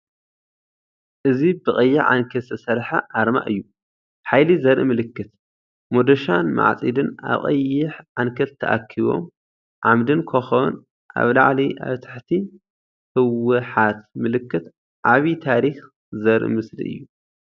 እዚ ብቀይሕ ዓንኬል ዝተሰርሐ ኣርማ እዩ። ሓይሊ ዘርኢ ምልክት፡ መዶሻን ማዕጺድን ኣብ ቀይሕ ዓንኬል ተኣኪቦም። ዓምድን ኮኾብን ኣብ ላዕሊ፡ ኣብ ትሕቲ ህ.ው.ሓ. ት ምልክት ዓቢ ታሪኽ ዘርኢ ምስሊ እዩ።